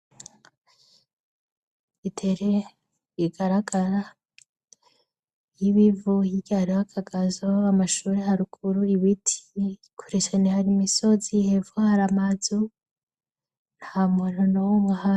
Itere igaragara ry'ibivu, hirya hariho akagazo, amashuri harukuru ibiti kureshane hari imisozi hevu hari amazu nta muntu no wumahe.